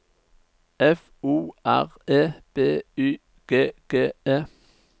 F O R E B Y G G E